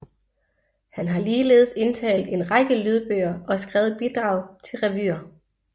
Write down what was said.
Han har ligeledes indtalt en række lydbøger og skrevet bidrag til revyer